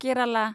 Kerala